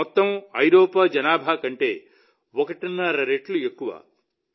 ఇది మొత్తం ఐరోపా జనాభా కంటే ఒకటిన్నర రెట్లు ఎక్కువ